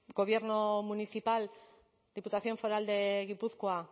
gobierno municipal diputación foral de gipuzkoa